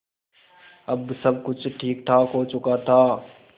अब सब कुछ ठीकठाक हो चुका था